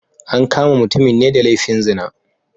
An kama mutumin ne da laifin zina